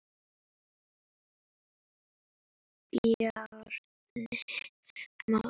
Bjarni Már.